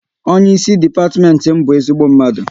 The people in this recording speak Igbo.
Onye ịsị depatiment m bụ ezigbo mmadụ